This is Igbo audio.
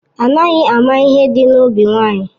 Anaghị ama ihe dị n'obi nwaanyị